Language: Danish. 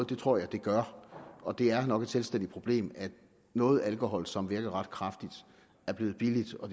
det tror jeg den gør og det er nok et selvstændigt problem at noget alkohol som virker ret kraftigt er blevet billigt og